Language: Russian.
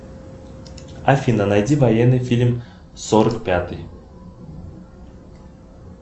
афина найди военный фильм сорок пятый